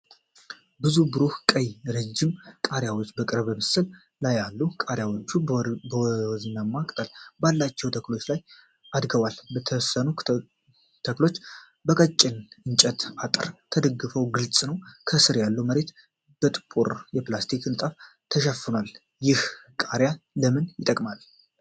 ብዙ ብሩህ ቀይ ረዥም ቃሪያዎች በቅርብ ምስል ላይ አሉ። ቃሪያዎቹ በወይናማ ቅጠል ባላቸው ተክሎች ላይ አድገዋል። የተወሰኑት ተክሎች በቀጭን የእንጨት አጥር እንደተደገፉ ግልጽ ነው። ከስር ያለው መሬት በጥቁር የፕላስቲክ ንጣፍ ተሸፍኗል። ይህ ቃሪያ ለምን ይጠቅማል?